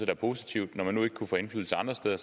er positivt når man nu ikke kunne få indflydelse andre steder